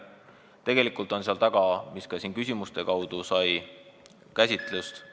Tegelikult on seal taga, mida ka siin küsimustes käsitleti ...